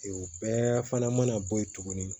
O bɛɛ fana mana bɔ yen tuguni